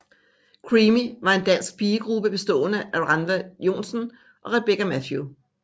Creamy var en dansk pigegruppe bestående af Rannva Joensen og Rebekka Mathew